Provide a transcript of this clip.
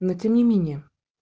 но тем не менее